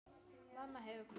Mamma hefur kvatt.